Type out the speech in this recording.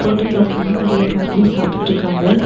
ஹோட்டல உக்காந்து நெறைய பேமிலி சாப்டுட்ருக்காங்க.